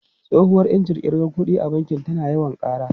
Tsohuwar injin kirga kuɗi a banki tana yawan ƙara.